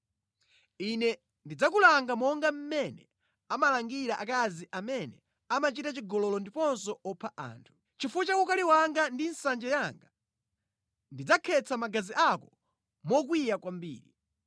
Ine ndidzakulanga monga mmene amalangira akazi amene amachita chigololo ndiponso opha anthu. Chifukwa cha ukali wanga ndi nsanje yanga, ndidzakhetsa magazi ako mokwiya kwambiri.